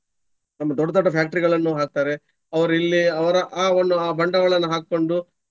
ತಮ್ಮ ದೊಡ್ಡ ದೊಡ್ಡ factory ಗಳನ್ನು ಹಾಕ್ತಾರೆ. ಅವ್ರಿಲ್ಲೇ ಅವರು ಆವನ್ನು ಆ ಬಂಡವಾಳವನ್ನು ಹಾಕ್ಕೊಂಡು.